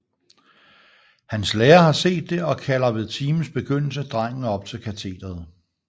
Hans lærer har set det og kalder ved timens begyndelse drengen op til katederet